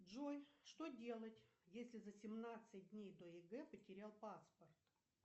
джой что делать если за семнадцать дней до егэ потерял паспорт